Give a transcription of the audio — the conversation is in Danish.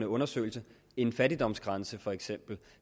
undersøgelse en fattigdomsgrænse for eksempel